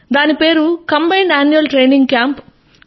దాని పేరు combined annual training camp